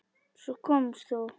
Svo komst þú.